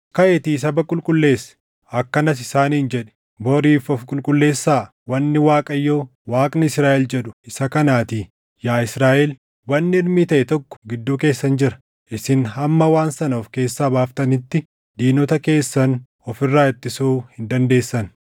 “Kaʼiitii saba qulqulleessi. Akkanas isaaniin jedhi; ‘Boriif ofi qulqulleessaa; wanni Waaqayyo Waaqni Israaʼel jedhu isa kanaatii; yaa Israaʼel, wanni hirmii taʼe tokko gidduu keessan jira. Isin hamma waan sana of keessaa baaftanitti diinota keessan of irraa ittisuu hin dandeessan.